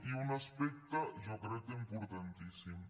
i un aspecte jo crec que importantíssim